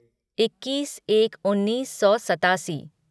इक्कीस एक उन्नीस सौ सतासी